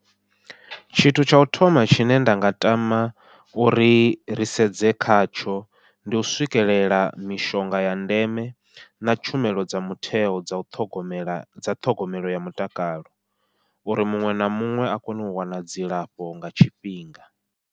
Tshithu tsha u thoma tshine nda nga tama uri ri sedze khatsho ndi u swikelela mishonga ya ndeme na tshumelo dza mutheo dza u ṱhogomela dza ṱhogomelo ya mutakalo uri muṅwe na muṅwe a kone u wana dzilafho nga tshifhinga.